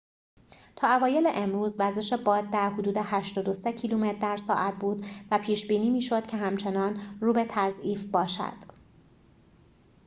تا اوایل امروز وزش باد در حدود ۸۳ کیلومتر در ساعت بود و پیش بینی می شد که همچنان رو به تضعیف باشد